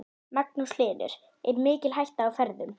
Magnús Hlynur: Er mikil hætta á ferðum?